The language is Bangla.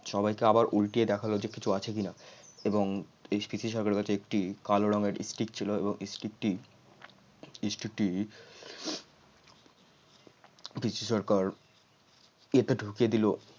সবাইকে আবার উল্টিয়ে দেখালো যে কিছু আছে কিনা এবং পিসি সরকারের কাছে একটি কালো রঙের stick ছিল এবং stick টি stick টি পিসি সরকার কি একটা ঢুকিয়ে দিল